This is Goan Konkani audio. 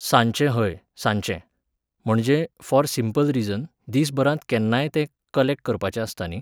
सांजचें हय, सांजचें. म्हणजें, फॉर सिम्पल रिजन, दीस भरांत केन्नाय तें कलॅक्ट करपाचें आसता न्ही?